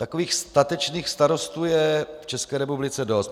Takových statečných starostů je v České republice dost.